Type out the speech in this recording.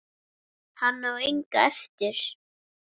Hann á enga eftir.